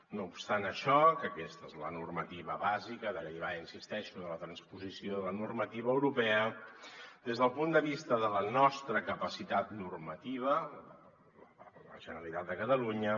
no obstant això que aquesta és la normativa bàsica derivada hi insisteixo de la transposició de la normativa europea des del punt de vista de la nostra capacitat normativa la generalitat de catalunya